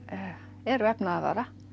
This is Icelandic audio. er vefnaðarvara